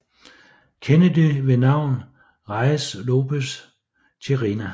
Kennedy ved navn Reies Lopez Tijerina